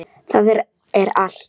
Það er allt, sagði hann.